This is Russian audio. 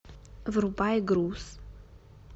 врубай груз